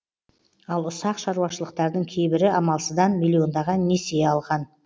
ал ұсақ шаруашылықтардың кейбірі амалсыздан миллиондаған несие алған